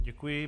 Děkuji.